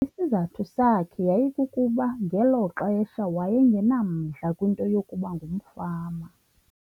Isizathu sakhe yayikukuba ngelo xesha waye ngenamdla kwinto yokuba ngumfama.